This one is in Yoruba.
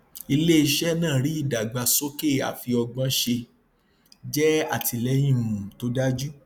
ilé iṣẹ náà rí ìdàgbàsókè àfiọgbọnṣe jẹ àtìlẹyìn um tó dájú